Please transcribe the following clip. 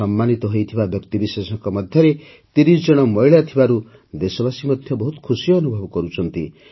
ସମ୍ମାନିତ ହୋଇଥିବା ବ୍ୟକ୍ତିବିଶେଷଙ୍କ ମଧ୍ୟରେ ୩୦ ଜଣ ମହିଳା ଥିବାରୁ ଦେଶବାସୀ ମଧ୍ୟ ବହୁତ ଖୁସି ଅନୁଭବ କରୁଛନ୍ତି